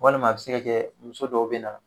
Walima a bɛ se ka kɛ muso dɔw bɛ na